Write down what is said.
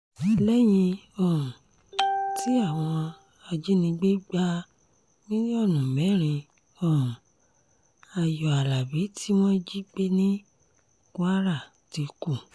lẹ́yìn um tí àwọn ajinígbé gba mílíọ̀nù mẹ́rin um ayọ̀ alábi tí wọ́n jí gbé ní kwara ti kú